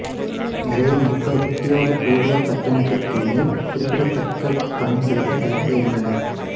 நிறைய மக்கள் உத்தியோகபூர்வ கட்டணத்திற்கு மேல் குறிப்பிடத்தக்க பணம் செலுத்த தயாராக இருந்தனர்